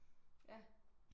Ja